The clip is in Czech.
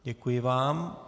Děkuji vám.